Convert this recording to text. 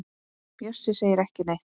Bjössi segir ekki neitt.